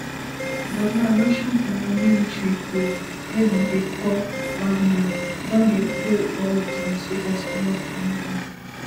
but now russian paramilitary group wey dem dey call wagner don dey pull all dia soldiers comot from mali